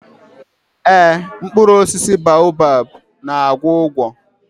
Ee, mkpụrụ osisi baobab na-agwọ ụgwọ.